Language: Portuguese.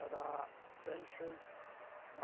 Era bem feito.